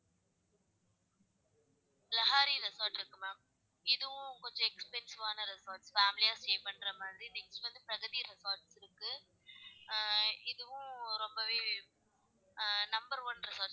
லகாரி resort இருக்கு ma'am இதுவும் கொஞ்சம் expensive ஆன resort family stay பண்ற மாதிரி, next வந்து resort இருக்கு ஆஹ் இதுவும் ரொம்பவே ஆஹ் number one resort,